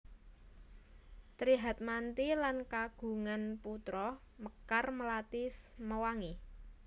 Tri Hatmanti lan kagungan putra Mekar Melati Mewangi